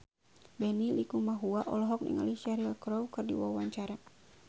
Benny Likumahua olohok ningali Cheryl Crow keur diwawancara